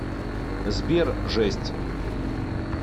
сбер жесть